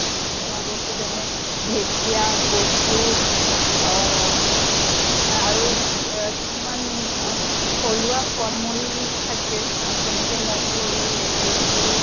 খোৱা বস্তু যেনে ঢেকীয়া কচু অহ আৰু জ্য়া কিছুমান আমাৰ থ্লুৱা ফল মূল থাকে। যেনেকে মধুৰী, লেটেকু